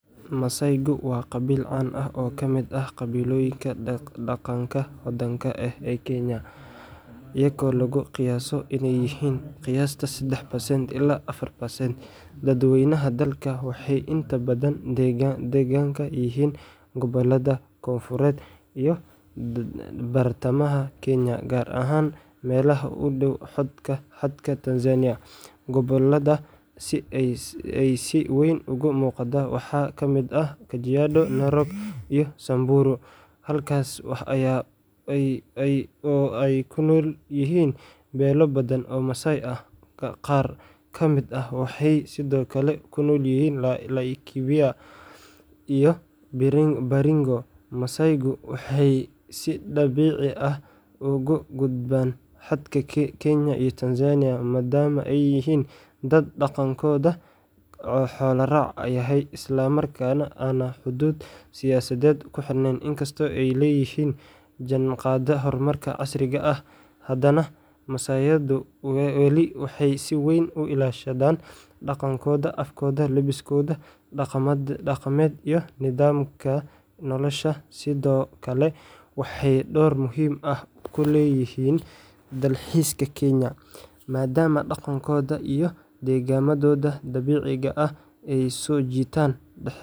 Masaaygu waa qabiil caan ah oo kamid ah qabiilooyinka dhaqanka hodanka leh ee Kenya, iyagoo lagu qiyaaso inay yihiin qiyaastii 3% ilaa 4% dadweynaha dalka. Waxay inta badan deggan yihiin gobollada koonfureed iyo bartamaha Kenya, gaar ahaan meelaha u dhow xadka Tanzania. Gobollada ay si weyn uga muuqdaan waxaa ka mid ah Kajiado, Narok, iyo Samburu, halkaas oo ay ku nool yihiin beelo badan oo Masaay ah. Qaar ka mid ah waxay sidoo kale ku nool yihiin Laikipia iyo Baringo. Masaaygu waxay si dabiici ah uga gudbaan xadka Kenya iyo Tanzania, maadaama ay yihiin dad dhaqankoodu xoolo-raac yahay islamarkaana aan xuduud siyaasadeed ku xiran. Inkastoo ay la jaanqaadeen horumarka casriga ah, haddana Masaaydu weli waxay si weyn u ilaashadaan dhaqankooda, afkooda, labiskooda dhaqameed, iyo nidaamka noloshooda. Sidoo kale, waxay door muhiim ah ku leeyihiin dalxiiska Kenya, maadaama dhaqankooda iyo deegaannadooda dabiiciga ah ay soo jiitaan.